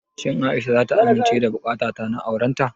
Shin Aisha zata amince da buƙatata ta aurenta?